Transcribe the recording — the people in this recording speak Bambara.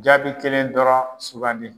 Jaabi kelen dɔrɔn sugandi.